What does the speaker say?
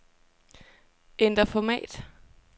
Ændr format.